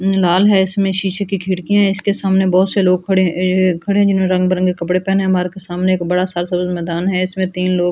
उम लाल है इसमें शीशे की खिड़कियां है इसके सामने बहुत से लोग खड़े अ खड़े जिन्होंने रंग बिरंगे कपड़े पहने मार्ग सामने एक बड़ा सा मैदान है इसमें तीन लोग --